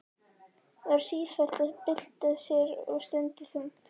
Var sífellt að bylta sér og stundi þungt.